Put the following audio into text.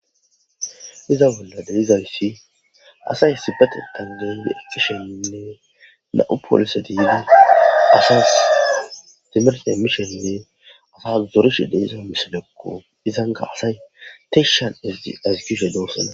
Iza bolla delizayssi asay sibatetandeendi ekisheinne na'u poolise diida asas timerse mishenne asas zorishe de iza misilekko izanga asay teshan azigushe doossane.